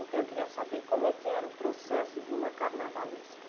Então, eu queria saber como é que era o processo de uma carnavalesca.